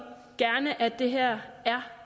gerne at det her er